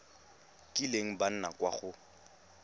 kileng ba nna kwa go